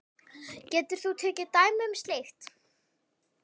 Getur þú tekið dæmi um slíkt?